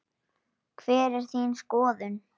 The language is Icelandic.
Hver er þín skoðun?